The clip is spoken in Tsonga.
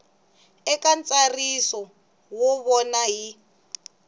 eka ntsariso wa vona hi